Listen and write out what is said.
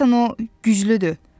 Deyəsən o güclüdür.